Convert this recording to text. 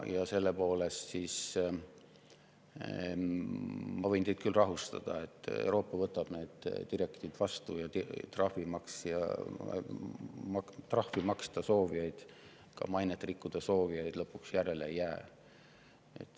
Ja ma võin teid rahustada: Euroopas võetakse see direktiiv vastu ja neid, kes sooviksid trahvi maksta ja ka oma mainet rikkuda, lõpuks järele ei jää.